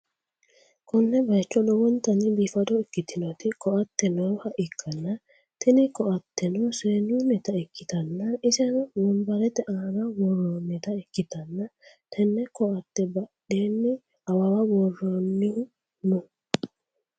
konne bayicho lowontanni biifado ikkitinoti ko'atte nooha ikkanna, tini ko'ateno seennunnita ikkitanna, iseno wonbarete aana worroonnita ikkitanna, tenne ko'atte badheenni awawa worroonnihu no.